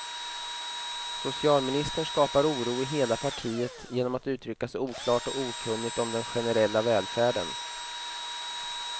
Socialministern skapar oro i hela partiet genom att uttrycka sig oklart och okunnigt om den generella välfärden.